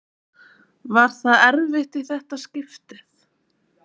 Var það erfitt í þetta skiptið?